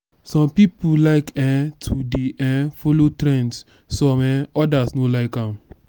some pipo like um to de um follow trends some um others no like am